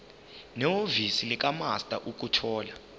nehhovisi likamaster ukuthola